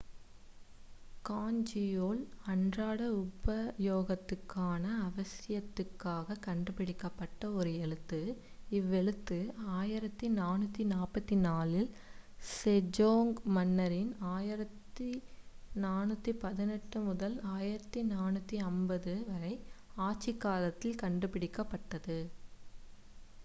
ஹாஞ்சியுல் அன்றாட உபயோகத்திற்கான அவசியத்திற்காக கண்டுபிடிக்கப்பட்ட ஒரு எழுத்து. இவ்வெழுத்து 1444-ல் செஜோங்க் மன்னரின்1418 - 1450 ஆட்சி காலத்தில் கண்டுபிடிக்கப்பட்டது